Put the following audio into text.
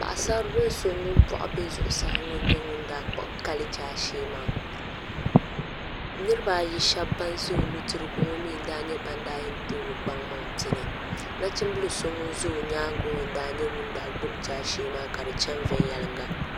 Paɣasari bili so ŋun boɣu bɛ zuɣusaa ŋo n nyɛ ŋun daa kpuɣi kali zaashee maa niraba ayi shab ban ƶɛ o nudirigu ŋo mii n nyɛ ban daa yɛn too o kpaŋmaŋ pini nachimbili so ŋun ʒɛ o nyaangi ŋo n nyɛ ŋun daa gbubi jaashee maa ka di chɛni viɛnyɛlinga